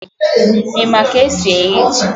I ma k'esi eyi ji?